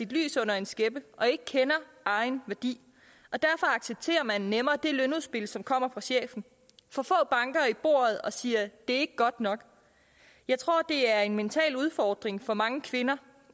lys under en skæppe og ikke kender egen værdi og derfor accepterer man nemmere det lønudspil som kommer fra chefen for få banker i bordet og siger det er ikke godt nok jeg tror det er en mental udfordring for mange kvinder